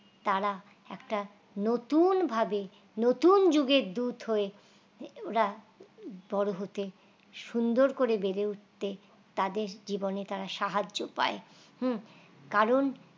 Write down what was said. তারা একটা নতুন ভাবে নতুন যুগের দুধ হয়ে হেওরা বড় হতে সুন্দর করে বেড়ে উঠতে তাদের জীবনে তারা সাহায্য পায় হুঁ কারণ